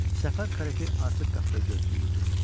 Səfər karetə artıq qapıda gözləyirdi.